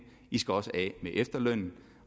de skal også af med efterlønnen